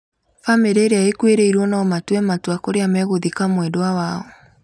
Bamĩrĩ ĩrĩa ĩkuĩrĩirwo no matue matua kũrĩa megũthika mwendwa wao